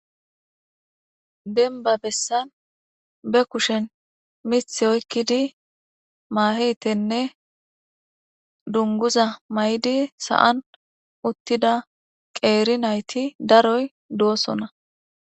Denba besan be kushen mithi oyikidi mahe tene dunguza maizi san utida qeri nayiti daroy dosona.